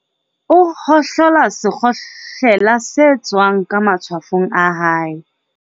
o hohlola sekgohlela se tswang ka matshwafong a hae.